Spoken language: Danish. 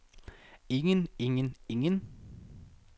ingen ingen ingen